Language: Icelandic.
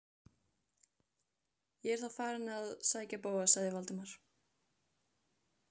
Þar var einstefna og engir aðrir en þau á ferð.